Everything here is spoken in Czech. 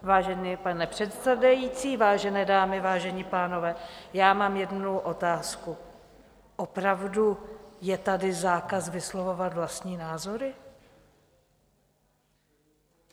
Vážený pane předsedající, vážené dámy, vážení pánové, já mám jednu otázku: Opravdu je tady zákaz vyslovovat vlastní názory?